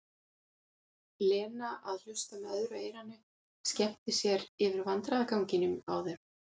Lena að hlusta með öðru eyranu, skemmti sér yfir vandræðaganginum á þeim.